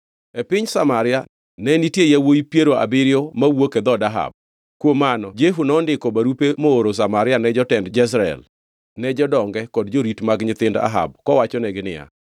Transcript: E piny Samaria ne nitie yawuowi piero abiriyo mawuok e dhood Ahab. Kuom mano Jehu nondiko barupe mooro Samaria ne jotend Jezreel, ne jodonge kod jorit mag nyithind Ahab kowachonegi niya,